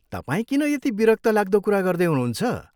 तपाईँ किन यति विरक्तलाग्दो कुरा गर्दै हुनुहुन्छ?